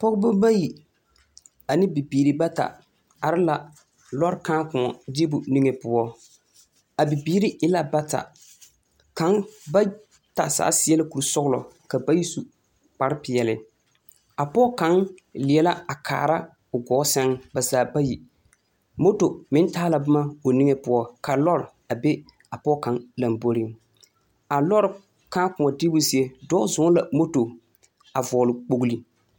Pɔgeba bayi ane bibiiri bata are la lɔre kãã-kõɔ deebo zie niŋe poɔ. A bibiiri e la bata. Kaŋ ba ta zaa seɛ la kurisɔgelɔ ka bayi su kparepeɛle. A pɔge kaŋ leɛ la a kaara o gɔɔ sɛŋ ba zaa bayi. Moto meŋ taa la boma o niŋe poɔ ka lɔre a be a pɔge kaŋ lamboriŋ. A lɔre kãã-kõɔ deebo zie dɔɔ zɔŋ la moto a vɔgele kpogli.